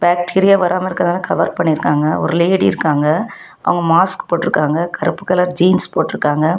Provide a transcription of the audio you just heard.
Bacteria வராம இருக்கதால cover பன்னிருக்காங்க ஒரு லேடி இருக்காங்க அவங்க மாஸ்க் போட்ருக்காங்க கருப்பு கலர் ஜீன்ஸ் போட்ருக்காங்க.